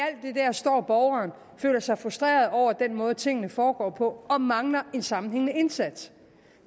står borgeren og føler sig frustreret over den måde tingene foregår på og mangler en sammenhængende indsats